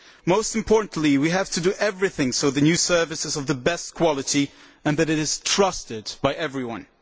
Most importantly we have to do everything to ensure that the new service is of the best quality and that it is trusted by everyone.